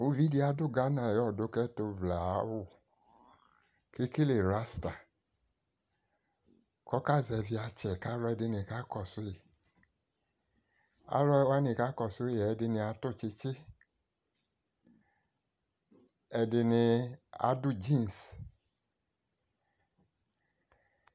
Uvidi adʋ Ghana ayʋ ɔdʋkɛtʋvlɛ aawʋ, ekele rasta, k'ɔka zɛvɩ atsɛ k'alʋ ɛdɩnɩ kakɔsʋyɩ, alʋwanɩ kakɔsʋɩ yɛ ɛdɩnɩ adʋ tsitsi, ɛdɩnɩ adʋ dzins